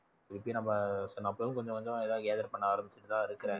திருப்பி நம்ம சொன்ன அப்பவும் கொஞ்சம் கொஞ்சம் எதாவது gather பண்ண ஆரம்பிச்சுட்டுதான் இருக்கிறேன்